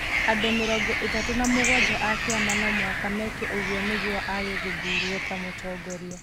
Andũ mĩrongo ĩtatũ na mũgwanja a kĩama no mũhaka meke ũguo nĩguo aage gũthuurwo ta mũtongoria.